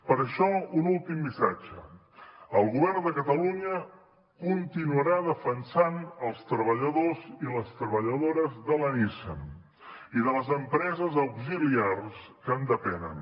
per això un últim missatge el govern de catalunya continuarà defensant els treballadors i les treballadores de la nissan i de les empreses auxiliars que en depenen